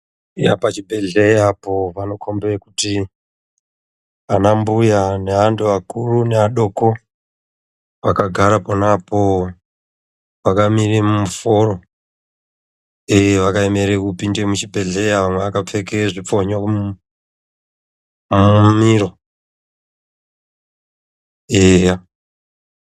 Pachibhehleya apo panokhombe kuti anambuya neantu akuru neadoko, vakagare ponaapo vakamirire muforo. vakaemere kupinde muchibhedhleya amwe akapfeke zvipfonyo mumiiro.